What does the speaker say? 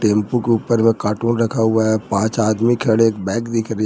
Tempo के ऊपर में कार्टून रखा हुआ है पांच आदमी खड़े बैक दिख रहे।